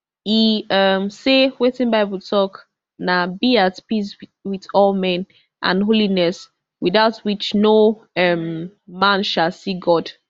e um say wetin bible tok na be at peace wit all men and holiness without which no um man shall see god